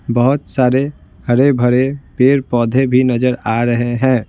बहुत सारे हरे-भरे पेड़-पौधे भी नजर आ रहे हैं।